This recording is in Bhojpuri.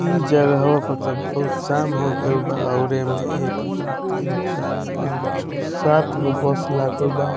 इ जगहों पर ते बहुत शाम हो गेल बा और ए मे एक दू तीन चार पांच छ सात गो बस लागल बा ।